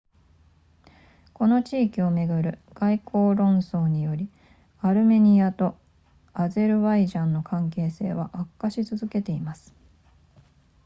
この地域をめぐる外交論争によりアルメニアとアゼルバイジャンの関係性は悪化し続けています